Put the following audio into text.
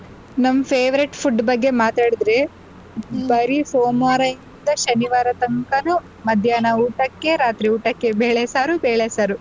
ನಮ್ favorite food ಬಗ್ಗೆ ಮಾತಾಡ್ದ್ರೆ ಬರಿ ಸೋಮಾರದಿಂದ ಶನಿವಾರತಂಕನು ಮಧ್ಯಾಹ್ನ ಊಟಕ್ಕೆ ರಾತ್ರಿ ಊಟಕ್ಕೆ ಬೆಳೆ ಸಾರು ಬೆಳೆ ಸಾರು ಅದು ಬೆಳೆ ಸಾರು.